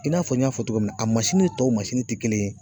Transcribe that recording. I n'a fɔ n y'a fɔ cogo min na, a tɔw ti kelen ye.